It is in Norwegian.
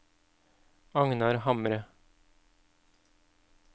Agnar Hamre